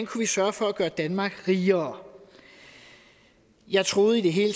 kunne sørge for at gøre danmark rigere jeg troede i det hele